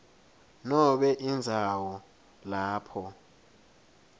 nobe indzawo lapho